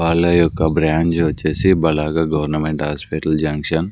వాళ్లయొక్క bronze వచ్చేసి బలాగా government hospital junction --